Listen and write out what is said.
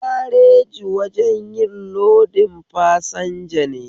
Gareji wajen yin lodin fasanja ne